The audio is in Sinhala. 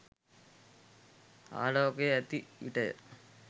ආළෝකය ඇති විට ය.